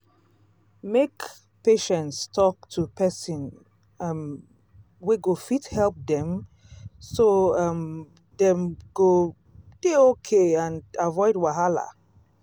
make patients talk to person um wey go fit help dem so um dem go dey okay and avoid wahala